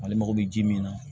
Ale mago bɛ ji min na